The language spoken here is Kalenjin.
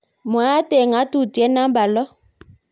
mwaat eng ngatutitiet namba lo